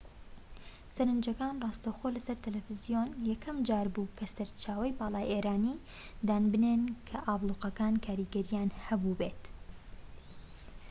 سەرنجەکان ڕاستەوخۆ لە سەر تەلەفزیۆن یەکەم جار بوو کە سەرچاوەی باڵای ئێرانی دان بنێن کە ئابلوقەکان کاریگەریان هەبوو بێت